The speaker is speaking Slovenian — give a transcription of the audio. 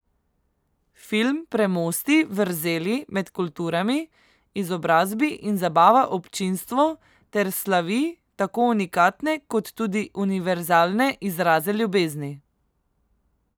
Film premosti vrzeli med kulturami, izobrazi in zabava občinstvo ter slavi tako unikatne kot tudi univerzalne izraze ljubezni.